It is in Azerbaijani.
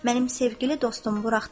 Mənim sevgili dostum buraxdılar.